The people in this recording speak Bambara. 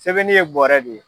Sɛbɛnni ye bɔɔrɛ de ye.